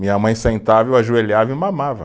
Minha mãe sentava, eu ajoelhava e mamava.